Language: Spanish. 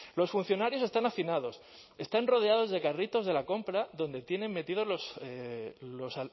los funcionarios están hacinados están rodeados de carritos de la compra donde tienen metidos